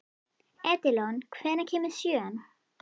Edilon, hvenær kemur sjöan?